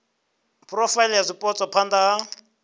phurofaili ya zwipotso phana ha